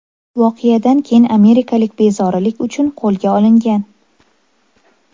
Voqeadan keyin amerikalik bezorilik uchun qo‘lga olingan.